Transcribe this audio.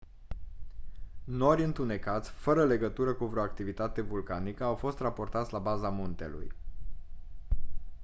nori întunecați fără legătură cu vreo activitate vulcanică au fost raportați la baza muntelui